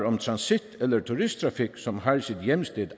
om transit eller turisttrafik som har sit hjemsted